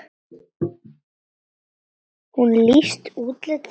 Hún lýsti útliti þeirra.